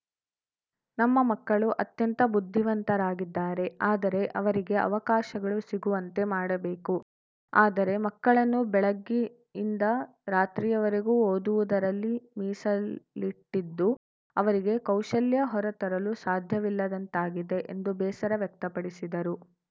ನಮ್ಮ ಮಕ್ಕಳು ಅತ್ಯಂತ ಬುದ್ಧಿವಂತರಾಗಿದ್ದಾರೆ ಆದರೆ ಅವರಿಗೆ ಅವಕಾಶಗಳು ಸಿಗುವಂತೆ ಮಾಡಬೇಕು ಆದರೆ ಮಕ್ಕಳನ್ನು ಬೆಳಗ್ಗೆಯಿಂದ ರಾತ್ರಿಯವರೆಗೂ ಓದುವುದರಲ್ಲಿ ಮೀಸಲಿಟ್ಟಿದ್ದು ಅವರಿಗೆ ಕೌಶಲ್ಯ ಹೊರ ತರಲು ಸಾಧ್ಯವಿಲ್ಲದಂತಾಗಿದೆ ಎಂದು ಬೇಸರ ವ್ಯಕ್ತಪಡಿಸಿದರು